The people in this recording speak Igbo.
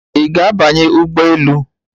Ị ga-abanye ụgbọ elu?